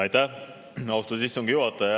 Aitäh, austatud istungi juhataja!